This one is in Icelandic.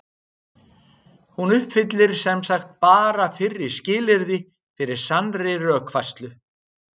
Hún uppfyllir sem sagt bara fyrra skilyrðið fyrir sannri rökfærslu.